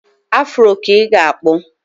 Afuro ka ị ga-akpụ.